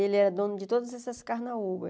Ele era dono de todas essas carnaúbas.